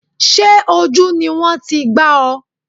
Sé ojú ni wọ́n ti gbá ọ?